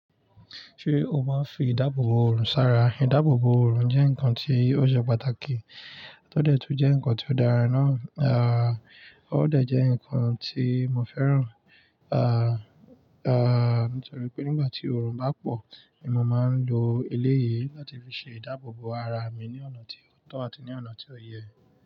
Ṣé o máa ń fi ìdáàbò bò òrùn sára? Ìdáàbò bò òrùn jẹ́ nǹkan tí ó ṣe pàtàkì, tó dẹ̀ tún jẹ́ nǹkan tí ó dára náà, à ó dẹ̀ jẹ́ nǹkan tí mo fẹ́ràn. À, à nítorí pé nígbà tí òrùn bá pọ̀ ni mo máa ń lo eléyìí láti fi ṣe ìdáàbò bò ara mi ní ọ̀nà tí ó tọ́ àti ní ọ̀nà tí ó yẹ.